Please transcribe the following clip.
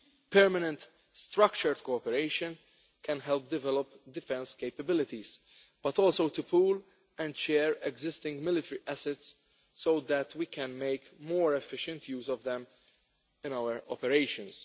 Permanent structured cooperation can help develop defence capabilities but also to pool and share existing military assets so that we can make more efficient use of them in our operations.